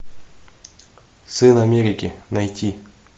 сын америки найти